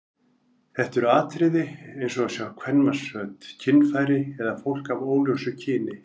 Þetta eru atriði eins og að sjá kvenmannsföt, kynfæri eða fólk af óljósu kyni.